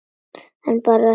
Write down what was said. En bara þetta eina sinn.